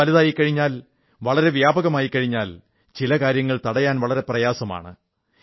വളരെ വലുതായിക്കഴിഞ്ഞാൽ വളരെ വ്യാപകമായിക്കഴിഞ്ഞാൽ ചില കാര്യങ്ങൾ തടയാൻ വളരെ പ്രയാസമാണ്